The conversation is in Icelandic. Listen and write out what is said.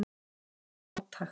Það er ótækt